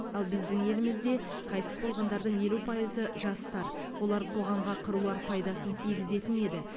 ал біздің елімізде қайтыс болғандардың елу пайызы жастар олар қоғамға қыруар пайдасын тигізетін еді